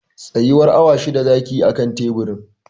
Tsayuwar awa shida zaki yi a kan teburin